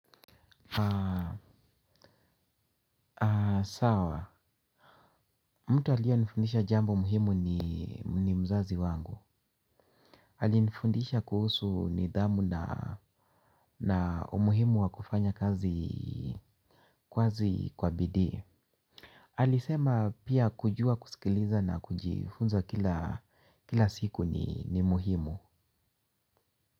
Sawa, mtu aliye nifundisha jambo muhimu ni mzazi wangu. Alinifundisha kuhusu nidhamu na umuhimu wakufanya kazi kwa bidii. Alisema pia kujua kusikiliza na kujifunza kila siku ni muhimu.